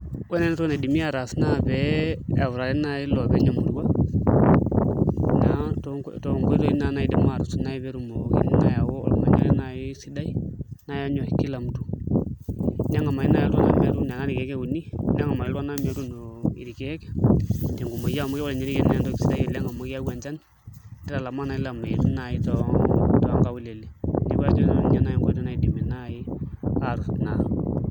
Ore naai entoki nadimi ataas naa pee eutakini naai iloopeny imurua toonkoitoi naai naidim aatusuj naai pee etumoki aayau ormanyara naai sidai lonyorr ]kila mtu neng'amari naai iltung'anak metaa irkeek euni, neng'amari iltung'anak metuuno irkeek tenkumoi amu sidan irkeek oleng' amu keyau enchan nitalamaa naai ilameitin naai toonkaulele neeku nena naai nkoitoi naidimi aatusuj naa.